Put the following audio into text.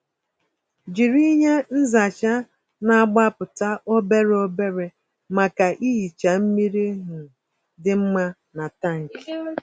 Jiri ihe nzacha na-agbapụta obere obere maka ihicha mmiri um dị mma na tankị.